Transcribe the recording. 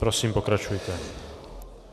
Prosím, pokračujte.